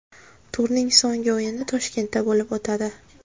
Turning so‘nggi o‘yini Toshkentda bo‘lib o‘tadi.